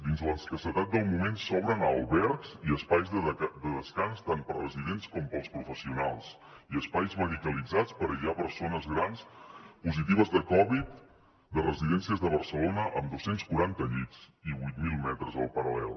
dins l’escassetat del moment s’obren a albergs i espais de descans tant per a residents com per als professionals i espais medicalitzats per aïllar persones grans positives de covid de residències de barcelona amb dos cents i quaranta llits i vuit mil metres al paral·lel